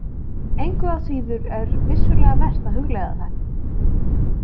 Engu að síður er vissulega vert að hugleiða þetta.